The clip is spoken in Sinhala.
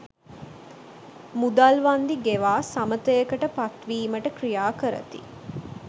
මුදල් වන්දි ගෙවා සමථයකට පත් වීමට ක්‍රියා කරති.